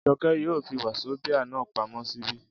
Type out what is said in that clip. Jọkẹ́ yóò fi wazobia náà pamọ́ ṣíbí